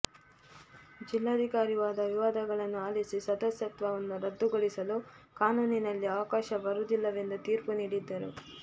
ಜಿಲ್ಲಾಧಿಕಾರಿ ವಾದ ವಿವಾದಗಳನ್ನು ಆಲಿಸಿ ಸದಸ್ಯತ್ವನ್ನು ರದ್ದುಗೊಳಿಸಲು ಕಾನೂನಿಲ್ಲಿ ಅವಕಾಶ ಬರುವುದಿಲ್ಲವೆಂದು ತೀರ್ಪು ನೀಡಿದ್ದರು